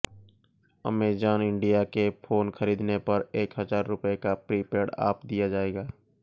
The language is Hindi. अमेजन इंडिया के फोन खरीदने पर एक हजार रुपए का प्रीपेड ऑफ दिया जाएगा